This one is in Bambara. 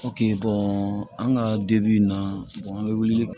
an ka dibi in na an bɛ wuli